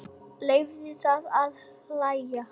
Leyfðu þér að hlæja.